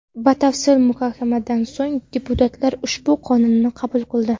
Batafsil muhokamadan so‘ng deputatlar ushbu qonunni qabul qildi.